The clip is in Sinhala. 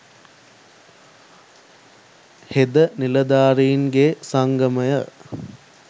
හෙද නිලධාරින්ගේ සංගමය